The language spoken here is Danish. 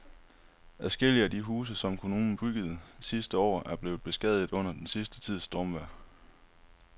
Adskillige af de huse, som kommunen byggede sidste år, er blevet beskadiget under den sidste tids stormvejr.